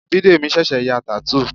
Bidemi ṣẹ̀ṣẹ̀ ya tattoo